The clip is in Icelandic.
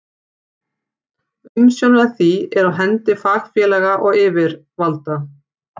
Umsjón með því er á hendi fagfélaga og yfirvalda.